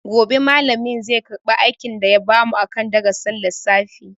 Gobe malamin zai karba aikin da ya bamu akan darasin lissafi.